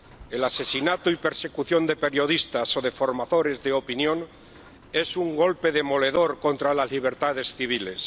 El asesinato y la persecución de periodistas o de formadores de opinión es un golpe demoledor contra las libertades civiles.